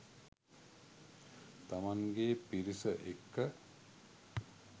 තමන්ගේ පිරිස එක්ක